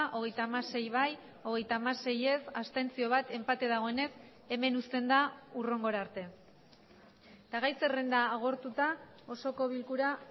hogeita hamasei bai hogeita hamasei ez bat abstentzio enpate dagoenez hemen uzten da hurrengora arte eta gai zerrenda agortuta osoko bilkura